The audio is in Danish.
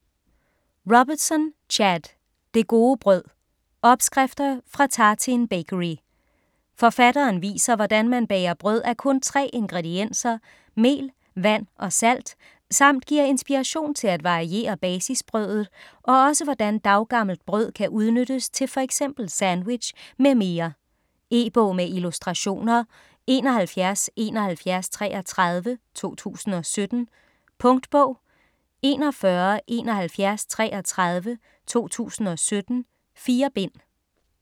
Robertson, Chad: Det gode brød: opskrifter fra Tartine Bakery Forfatteren viser hvordan man bager brød af kun tre ingredienser: mel, vand og salt samt giver inspiration til at variere basisbrødet og også hvordan daggammelt brød kan udnyttes til f.eks. sandwich m.m. E-bog med illustrationer 717133 2017. Punktbog 417133 2017. 4 bind.